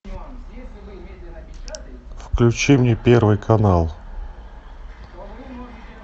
включи мне первый канал